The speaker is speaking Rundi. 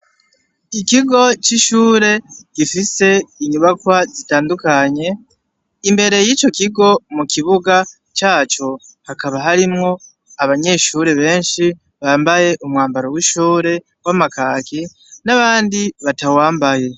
Ikigo cishure gifise inyubakwa zitandukanye imbere yico kigo mukibuga caco hakaba harimwo abanyeshure benshi bambaye umwambaro wishure wamakaki n'abandi batawambaye.